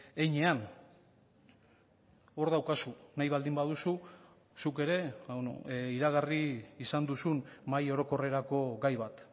heinean hor daukazu nahi baldin baduzu zuk ere iragarri izan duzun mahai orokorrerako gai bat